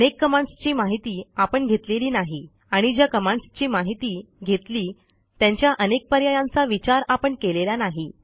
अनेक कमांडसची माहिती आपण घेतलेली नाही आणि ज्या कमांडसची माहिती घेतली त्यांच्या अनेक पर्यायांचा विचार आपण केलेला नाही